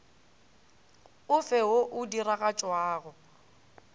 o fe wo o diragatšwago